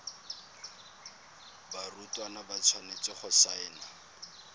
barutwana ba tshwanetse go saena